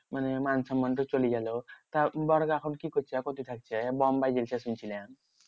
মানে মানসন্মান তো চলে গেলো। তা বড়কা এখন কি করছে? এখন কো থাকছে? বোম্বাই গেছে শুনছিলাম।